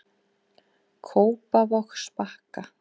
Kópavogsbakka